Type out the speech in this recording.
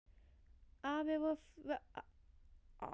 Afi var alveg ferlegur meðan við borðuðum.